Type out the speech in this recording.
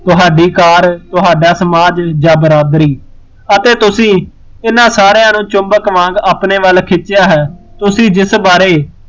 ਤੁਹਾਡੀ ਕਾਰ, ਤੁਹਾਡਾ ਸਮਾਜ, ਯਾ ਬਰਾਦਰੀ ਅਤੇ ਤੁਸੀਂ ਇਹਨਾਂ ਸਾਰਿਆ ਨੂੰ ਚੁੰਬਕ ਵਾਂਗ ਆਪਣੇ ਵੱਲ ਖਿੱਚਿਆ ਹੈ, ਤੁਸੀਂ ਜਿਸ ਬਾਰੇ